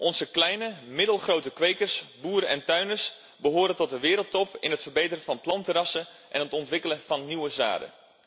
Onze kleine en middelgrote kwekers, boeren en tuinders behoren tot de wereldtop in het verbeteren van plantenrassen en het ontwikkelen van nieuwe zaden.